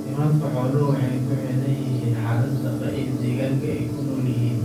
Caafimaadka xooluhu waxa uu ku xidhan yahay xaalada daaqa iyo deegaanka ay ku nool yihiin.